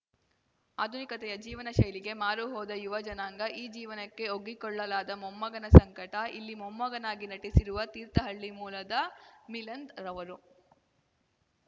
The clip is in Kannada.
ಆಧುನಿಕತೆಯ ಜೀವನ ಶೈಲಿಗೆ ಮಾರು ಹೋದ ಯುವ ಜನಾಂಗ ಆ ಜೀವನಕ್ಕೆ ಒಗ್ಗಿಕೊಳ್ಳಲಾದ ಮೊಮ್ಮಗನ ಸಂಕಟ ಇಲ್ಲಿ ಮೊಮ್ಮಗನಾಗಿ ನಟಿಸಿರುವ ತೀರ್ಥಹಳ್ಳಿ ಮೂಲದ ಮಿಲಂದ್‌ ರವರು